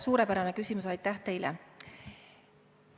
Suurepärane küsimus, aitäh teile!